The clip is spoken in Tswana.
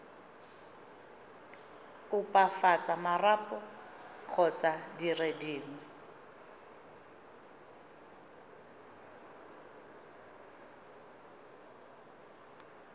opafatsa marapo kgotsa dire dingwe